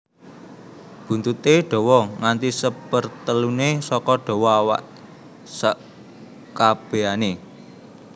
Buntuté dawa nganti seperteluné saka dawa awak sekabèané